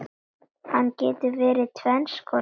Hann getur verið tvenns konar